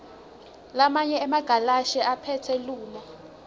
lamanye emagalashi aphethilomu